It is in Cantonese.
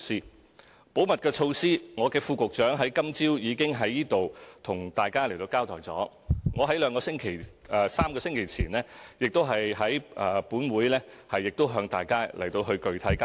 就保密的措施，我的副局長今早已經在此向大家交代，我在3個星期前亦已在本會向大家具體交代。